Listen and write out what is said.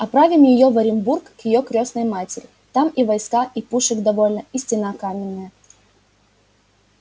отправим её в оренбург к её крестной матери там и войска и пушек довольно и стена каменная